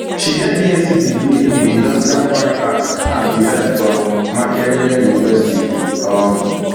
she get bsc degree in industrial fine art and design from makerere university um